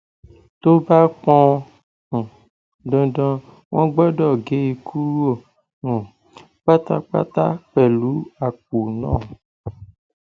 tó bá pọn um dandan wọn gbọdọ gé e kúrò um pátápátá pẹlú àpò náà